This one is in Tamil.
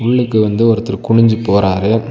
உள்ளுக்கு வந்து ஒருத்தர் குனிஞ்சு போறாரு.